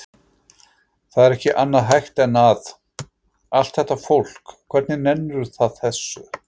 Það er ekki annað hægt en að. allt þetta fólk, hvernig nennir það þessu?